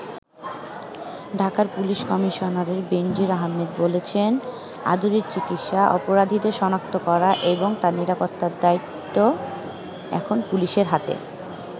ঢাকার police commissioner Benazir Ahmed বলেছেন আদুরির চিকিৎসা, অপরাধীদের শনাক্ত করা এবং তার নিরাপত্তার দায়িত্ব এখন পুলিশের হাতে।